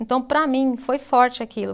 Então, para mim, foi forte aquilo.